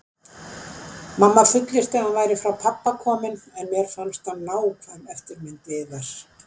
Mamma fullyrti að hann væri frá pabba kominn, en mér fannst hann nákvæm eftirmynd Viðars.